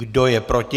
Kdo je proti?